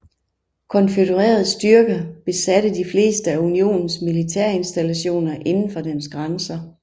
Konfødererede styrker besatte de fleste af Unionens militærinstallationer indenfor dens grænser